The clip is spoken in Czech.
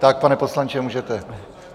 Tak, pane poslanče, můžete.